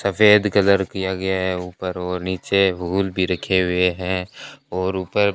सफेद कलर किया गया है ऊपर और नीचे हुल भी रखे हुए हैं और ऊपर--